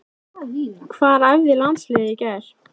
Hvar æfði landsliðið í gær?